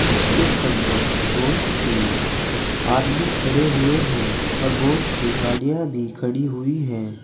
इसके अंदर बहुत सी आदमी खड़े हुए हैं और बहुत सी गाड़ियां भी खड़ी हुई है।